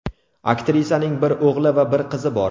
Aktrisaning bir o‘g‘li va bir qizi bor.